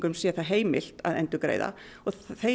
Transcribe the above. sé það heimilt að endurgreiða og